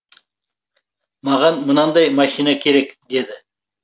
маған мынандай машина керек деді